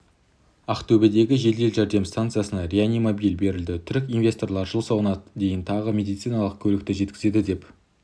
ақтөбедегі жедел жәрдем станциясына реанимобиль берілді түрік инвесторлары жыл соңына дейін тағы медициналық көлікті жеткізеді деп